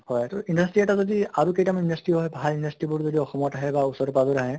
হয় তʼ industry এটা যদি আৰু কেইটামান industry হয় ভাল industry বোৰ যদি অসমত আহে বা ওচৰে পাজৰে আহে